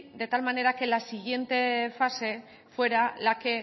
de tal manera que la siguiente fase fuera la que